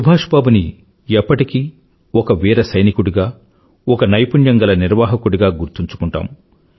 సుభాష్ బాబుని ఎప్పటికీ ఒక వీర సైనికుడిగా ఒక నైపుణ్యం గల నిర్వాహకుడిగా గుర్తుంచుకుంటాము